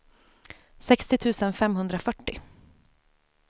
sextio tusen femhundrafyrtio